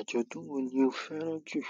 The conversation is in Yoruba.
Ajọdun wo ni o fẹ́ràn jù?